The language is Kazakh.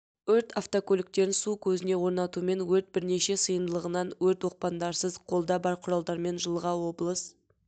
өрт автокөліктерін су көзіне орнатумен өрт бірнеше сыйымдылығынан өрт оқпандарсыз қолда бар құралдармен жылға облыс